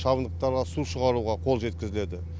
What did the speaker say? шабындықтарға су шығаруға қол жеткізіледі